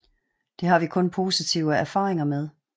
Det har vi kun haft positive erfaringer med